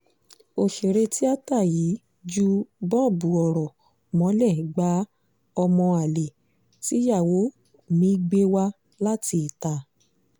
ọ̀sẹ̀rẹ̀ tíata yìí jù bọbú ọ̀rọ̀ mo lè gba ọmọ àlè tíyàwó mi gbé wá láti ìta